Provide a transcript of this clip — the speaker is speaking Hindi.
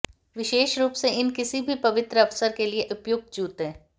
विशेष रूप से इन किसी भी पवित्र अवसर के लिए उपयुक्त जूते